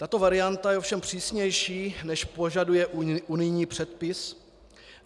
Tato varianta je ovšem přísnější, než požaduje unijní předpis.